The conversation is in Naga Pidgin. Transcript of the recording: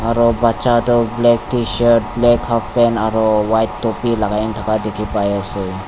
aru bacha toh black tshirt black halfpant aru white topi lagai ne thaka dikhi pai ase.